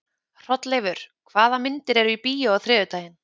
Hrolleifur, hvaða myndir eru í bíó á þriðjudaginn?